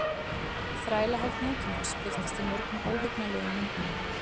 Þrælahald nútímans birtist í mörgum óhugnanlegum myndum.